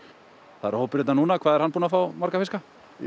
það er hópur hérna núna hvað er hann búinn að fá marga fiska